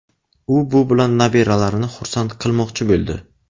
U bu bilan nabiralarini xursand qilmoqchi bo‘ldi.